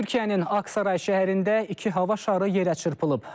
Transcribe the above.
Türkiyənin Aksaray şəhərində iki hava şarı yerə çırpılıb.